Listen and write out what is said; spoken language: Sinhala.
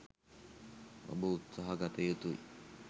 ඔබ උත්සහ ගත යුතුයි.